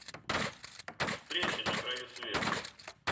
встреча на краю света